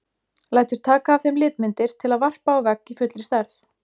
Lætur taka af þeim litmyndir til að varpa á vegg í fullri stærð.